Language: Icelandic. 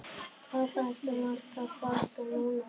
Hvað áttu margar flöskur núna?